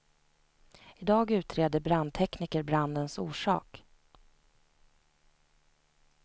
I dag utreder brandtekniker brandens orsak.